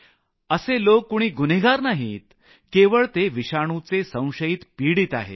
असे लोक कुणी गुन्हेगार नाहीत केवळ ते विषाणुचे संशयित पीडित आहेत